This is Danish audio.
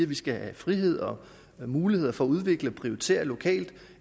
vi skal have frihed og muligheder for at udvikle og prioritere lokalt